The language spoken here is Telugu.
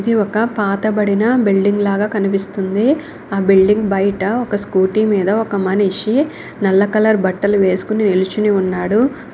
ఇది ఒక పాతబడిన బిల్డింగ్ లాగా కనిపిస్తుంది. ఆ బిల్డింగ్ బయట ఒక స్కూటీ మీద ఒక మనిషి నల్ల కలర్ బట్టలు వేసుకొని నిలుచుని ఉన్నాడు.